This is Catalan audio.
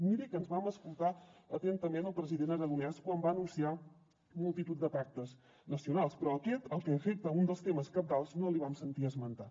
miri que ens vam escoltar atentament el president aragonès quan va anunciar multitud de pactes nacionals però aquest el que afecta un dels temes cabdals no l’hi vam sentir esmentar